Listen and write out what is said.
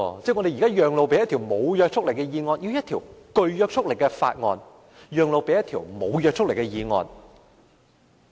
即是說，我們現在要把一項具約束力的法案，讓路予一項無約束力的議案。